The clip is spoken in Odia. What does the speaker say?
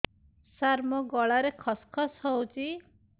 ସାର ମୋ ଗଳାରେ ଖସ ଖସ ହଉଚି